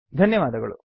ಧನ್ಯವಾದಗಳು